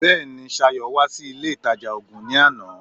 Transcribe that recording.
Bẹ́ẹ̀ni, Ṣayọ̀ wá sí ilé ìtajà oògun ní àná